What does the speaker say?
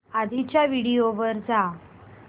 आधीच्या व्हिडिओ वर जा